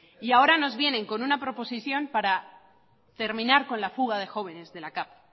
y ahora nos vienen con una proposición para terminar con la fuga de jóvenes de la cav